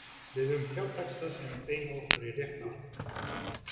Við höfum þrjá texta sem beina okkur í rétta átt.